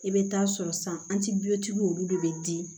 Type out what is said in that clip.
I bɛ taa sɔrɔ santibutigiw olu de bɛ di